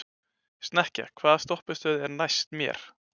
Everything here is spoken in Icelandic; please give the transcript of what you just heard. Snekkja, hvaða stoppistöð er næst mér?